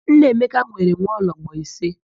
Nneamaka nwere nwaologbo ise.